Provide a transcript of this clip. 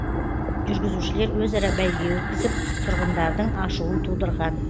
жүргізушілер өзара бәйге өткізіп тұрғындардың ашуын тудырған